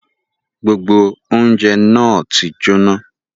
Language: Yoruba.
Gbogbo ọ̀unjẹ na ti jóná